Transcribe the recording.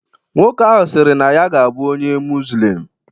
Nwoke ahụ sịrị na ya ga-abụ onye muzlim